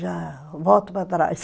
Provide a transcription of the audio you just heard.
Já volto para trás.